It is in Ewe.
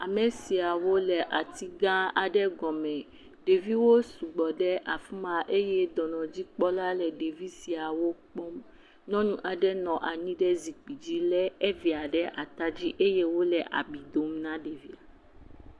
Ame siawo le ati gã aɖe gɔme. Ɖeviwo sugbɔ ɖe afi ma eye dɔnɔdzikpɔla le ɖevi siawo kpɔm. Nyɔnu aɖe nɔ anyi ɖe zikpui dzi le evia ɖe ata dzi eye wo le abi dom na ɖevia.